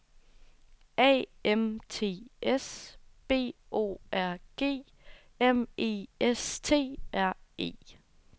A M T S B O R G M E S T R E